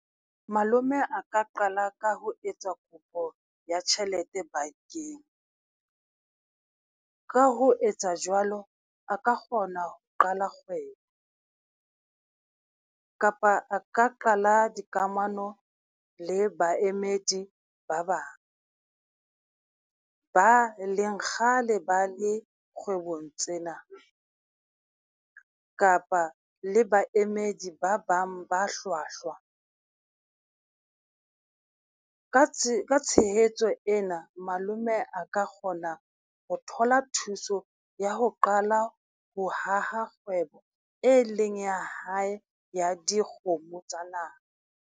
Malome a ka qala ka ho etsa kopo ya tjhelete bankeng, ka ho etsa jwalo, a ka kgona ho qala kgwebo. Kapa a ka qala dikamano le baemedi ba bang ba e leng kgale ba le kgwebong tsena, kapa le baemedi ba bang ba hlwahlwa. Ka tshehetso ena malome a ka kgona ho thola thuso ya ho qala ho haha kgwebo, e leng ya hae ya dikgomo tsa nama.